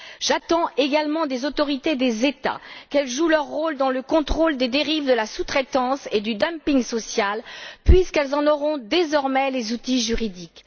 J'attends également des autorités des États qu'elles jouent leur rôle dans le contrôle des dérives de la sous traitance et du dumping social puisqu'elles en auront désormais les outils juridiques.